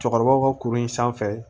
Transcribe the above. Cɛkɔrɔbaw ka kurun in sanfɛ